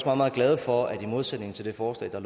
meget glade for at der i modsætning til det forslag der